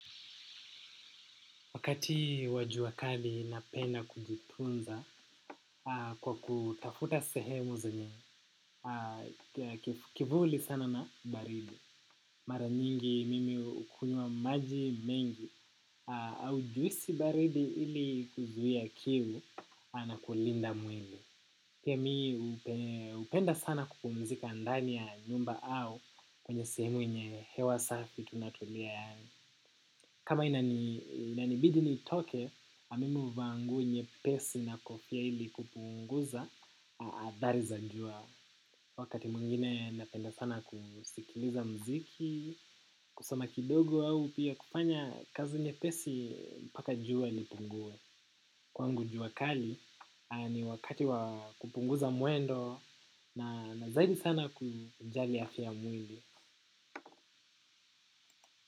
Wakati wa jua kali napenda kujitunza kwa kutafuta sehemu zenye kivuli sana na baridi. Mara nyingi mimi hukunywa maji mengi au juisi baridi ili kuzuia kiu na kulinda mwili. Pia mi hupenda sana kupumzika ndani ya nyumba au kwenye sehemu yenye hewa safi tunatulia. Kama inanibidi nitoke, mimi huvaa nguo nyepesi na kofia ili kupunguza, athari za jua. Wakati mwingine napenda sana kusikiliza mziki, kusoma kidogo au pia kufanya kazi nyepesi mpaka jua lipunguwe. Kwangu jua kali, ni wakati wa kupunguza mwendo na zaidi sana kujali afya ya mwili.